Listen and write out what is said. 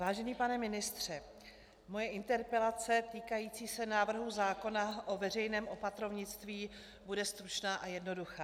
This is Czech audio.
Vážený pane ministře, moje interpelace týkající se návrhu zákona o veřejném opatrovnictví bude stručná a jednoduchá.